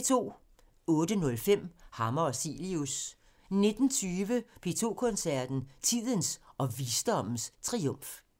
18:05: Hammer og Cilius 19:20: P2 Koncerten – Tidens og visdommens triumf